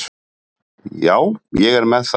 Já, ég er með það hér.